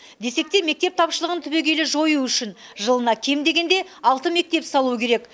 десек те мектеп тапшылығын түбегейлі жою үшін жылына кем дегенде алты мектеп салу керек